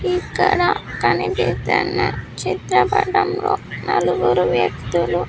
ఇక్కడ కనిపిస్తున్న చిత్రపటం లో నలుగురు వ్యక్తులు.